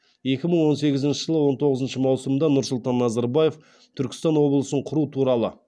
екі мың он сегізінші жылғы он тоғызыншы маусымда нұрсұлтан назарбаев түркістан облысын құру туралы